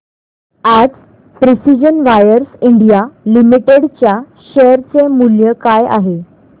आज precision wires India limited च्या share चे मूल्य काय आहे